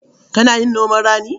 Kana yin noman rani?